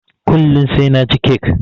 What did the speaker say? Kullun sai naci kek